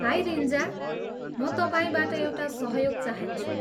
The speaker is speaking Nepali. हाई रिन्जा, म तपाईँबाट एउटा सहयोग चाहन्छु।